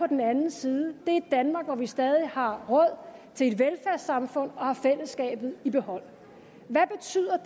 den anden side er et danmark hvor vi stadig har råd til et velfærdssamfund og har fællesskabet i behold hvad betyder